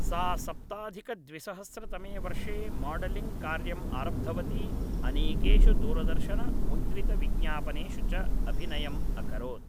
सा सप्ताधिकद्विसहस्रतमे वर्षे माडलिङ्ग् कार्यं आरब्धवती अनेकेषु दूरदर्शनमुद्रितविज्ञापनेषु च अभिनयम् अकरोत्